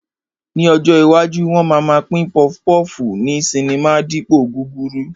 Ní ọjọ́ iwájú, wọn máa ma pín pọfupọ́ọ̀fù ní sinimá dípòo gúrúrú